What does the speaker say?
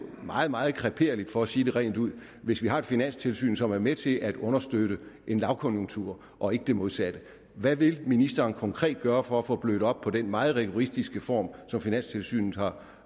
meget meget kreperligt for at sige det rent ud hvis vi har et finanstilsyn som er med til at understøtte en lavkonjunktur og ikke det modsatte hvad vil ministeren konkret gøre for at få blødt op på den meget rigoristiske form som finanstilsynet har